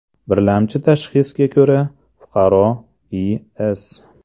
Birlamchi tashxisga ko‘ra, fuqaro I.S.